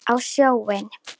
Á sjóinn?